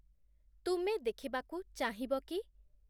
ତୁମେ ଦେଖିବାକୁ ଚାହିଁବ କି?